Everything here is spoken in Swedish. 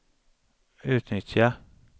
utnyttja